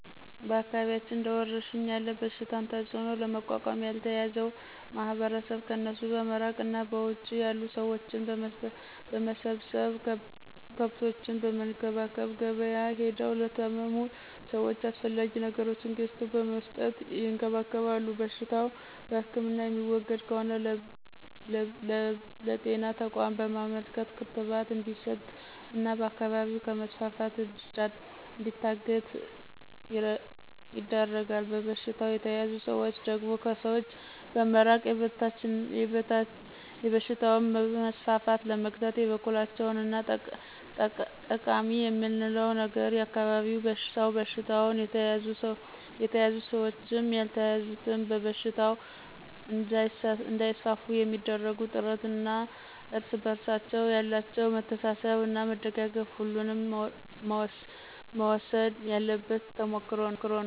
በአካባቢያችን እንደ ወረርሽኝ ያለ በሽታን ተጽዕኖ ለመቋቋም ያልተያዘው ማህበረሰብ ከእነሱ በመራቅ እና በውጭ ያሉ ሰብሎችን በመሰብሰብ፣ ከብቶችን በመንከባከብ፣ ገብያ ሄደው ለታመሙት ሰወች አስፈላጊ ነገሮችን ገዝተው በመስጠት ይንከባከባሉ። በሽታው በህክምና የሚወገድ ከሆነ ለብጤና ተቋም በማመልከት ክትባት እንዲስጥ እና በአካባቢው ከመስፋፋት እንዲገታ ይደረጋል። በበሽታው የተያዙ ሰዎች ደግሞ ከሰዎች በመራቅ የበሽታውን መስፋፋት ለመግታት የበኩላቸውን አስተዋፅኦ ያሳድራሉ። ከዚህ የተማርኩት እና ጠቃማ የምለው ነገር የአካባቢው ሰው በበሽታው የተያዙትም ያልተያዙትም በሽታው እንዳይስፋፋ የሚአደርጉት ጥረት እና እርስ በርሳቸው ያላቸው መተሳሰብ እና መደጋገፍ አሁንም መወሰድ ያለበት ተሞክሮ ነው።